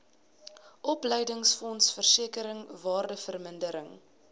opleidingsfonds versekering waardevermindering